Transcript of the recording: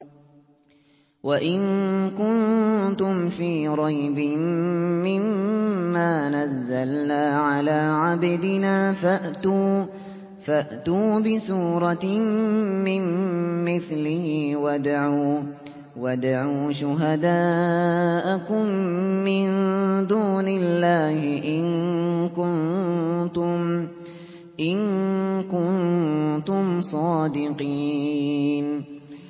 وَإِن كُنتُمْ فِي رَيْبٍ مِّمَّا نَزَّلْنَا عَلَىٰ عَبْدِنَا فَأْتُوا بِسُورَةٍ مِّن مِّثْلِهِ وَادْعُوا شُهَدَاءَكُم مِّن دُونِ اللَّهِ إِن كُنتُمْ صَادِقِينَ